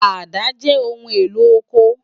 Àdá jè óoún éló ókó